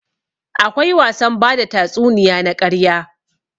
Akwai wasan bada tatsuniya na ƙarya.